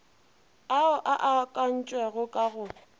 ao a akantšwego ka go